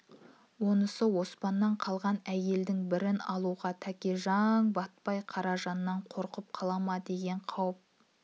онысы оспаннан қалған әйелдің бірін алуға тәкежаң батпай қара-жаннан қорқып қала ма деген қауіп